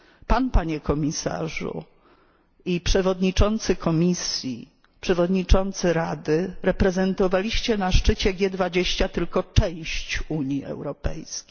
Pan, Panie Komisarzu, i przewodniczący Komisji, przewodniczący Rady reprezentowaliście na szczycie G20 tylko część Unii Europejskiej.